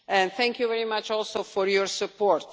Thank you very much also for your support.